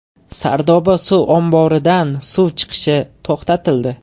Sardoba suv omboridan suv chiqishi to‘xtatildi.